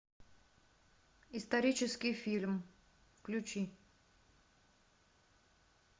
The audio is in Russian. исторический фильм включи